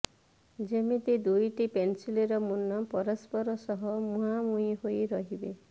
ଯେମିତି ଦୁଇଟି ପେନ୍ସିଲର ମୁନ ପରସ୍ପର ସହ ମୁହାଁମୁହିଁ ହୋଇ ରହିବ